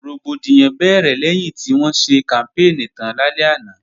Rògbòdìyàn bẹ̀rẹ̀ lẹ́yìn tí wọ́n ṣe kàmpéènì tán lálẹ́ àná